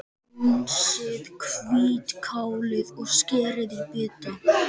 Hreinsið hvítkálið og skerið í bita.